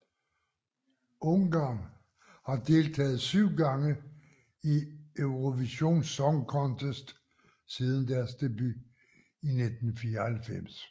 Ungarn har deltaget 7 gange i Eurovision Song Contest siden deres debut i 1994